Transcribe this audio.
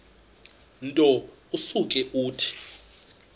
nto usuke uthi